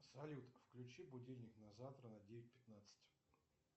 салют включи будильник на завтра на девять пятнадцать